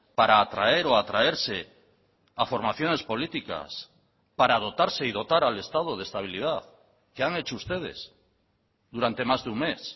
para atraer o atraerse a formaciones políticas para dotarse y dotar al estado de estabilidad qué han hecho ustedes durante más de un mes